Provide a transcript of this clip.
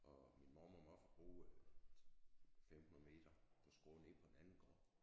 Og min mormor og morfar boede 500 meter på skrå nede på en anden gård